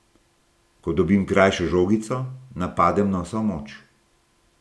Ko dobim krajšo žogico, napadem na vso moč.